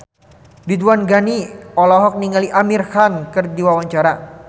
Ridwan Ghani olohok ningali Amir Khan keur diwawancara